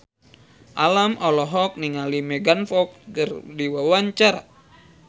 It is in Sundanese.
Alam olohok ningali Megan Fox keur diwawancara